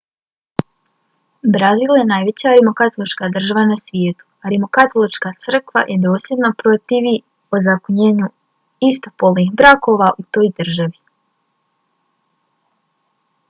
brazil je najveća rimokatolička država na svijetu a rimokatolička crkva se dosljedno protivi ozakonjenju istopolnih brakova u toj državi